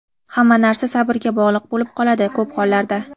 Hamma narsa sabrga bog‘liq bo‘lib qoladi ko‘p hollarda.